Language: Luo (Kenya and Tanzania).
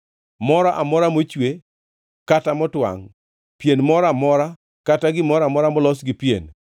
moro amora mochwe kata motwangʼ, pien moro amora kata gimoro amora molos gi pien